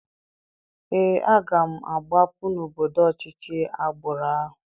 Ee, aga m agbapụ n'obodo ọchịchị agbụrụ ahụ.